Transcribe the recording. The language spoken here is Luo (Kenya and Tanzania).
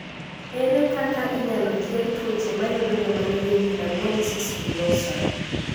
Ere kaka inyalo thiedh tuoche mayudo joma nigi epidermolysis bullosa?